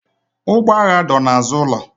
Ụgbọ agha dọ n'azụ ụlọ.